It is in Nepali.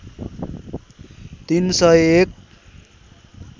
३ सय १